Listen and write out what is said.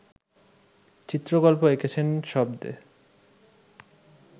চিত্রকল্প এঁকেছেন শব্দে